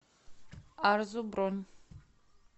арзу бронь